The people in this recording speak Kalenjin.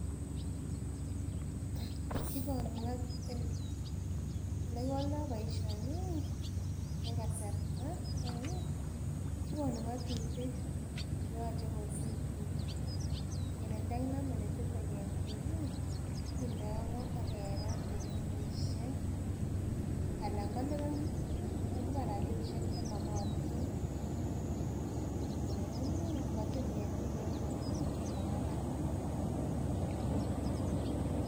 Elekiwoldoo boisioni ih en kasarta ko kikonu ng'otutik cheyoche kosib biik kele ndokinomen netile ketik ih kindoo go ak kerat en kenyisiek alan koliban rapisiek chemokotin ngamun ih ngotil ketik kounon ih komakararan